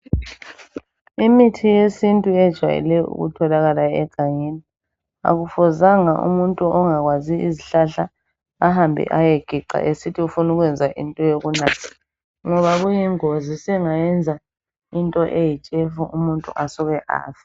Imithi yesintu ejwayele ukutholakala egangeni akufuzanga umuntu ongakwazi izihlahla ahambe eyegeca esithi ufuna ukwenza into yokunatha ngoba kuyingozi sengayenza into eyitshefu umuntu asked afe.